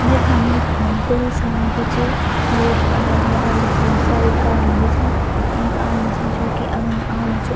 यखम एक बहौत बड़ी सड़क भी च वेक अगल-बगल में बहौत सारी गाड़ी भी छन एक आदमी छैं जो की अगणे आणू च।